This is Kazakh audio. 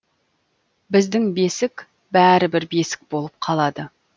біздің бесік бәрі бір бесік болып қалады